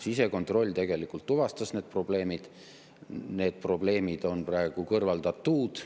Sisekontroll tegelikult tuvastas need probleemid ja need probleemid on praegu kõrvaldatud.